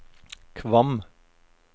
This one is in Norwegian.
Kvam